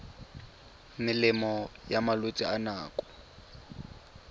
melemo ya malwetse a nako